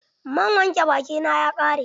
Man wanke baki na ya ƙare.